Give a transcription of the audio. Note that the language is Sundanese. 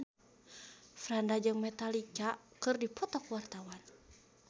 Franda jeung Metallica keur dipoto ku wartawan